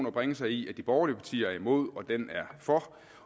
at bringe sig i at de borgerlige partier er imod og den er for